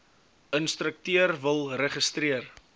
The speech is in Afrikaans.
instrukteur wil registreer